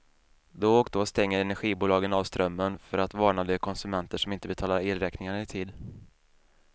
Då och då stänger energibolagen av strömmen för att varna de konsumenter som inte betalar elräkningarna i tid.